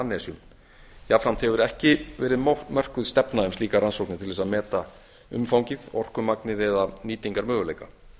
undan annesjum jafnframt hefur ekki verið mótuð stefna um slíkar rannsóknir til þess að meta orkumagnið eða nýtingarmöguleika